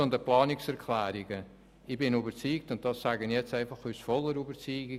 Zu den Planungserklärungen: Ich bin völlig überzeugt, dass wir hier übersteuern.